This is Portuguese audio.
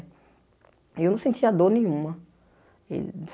E eu não sentia dor nenhuma. E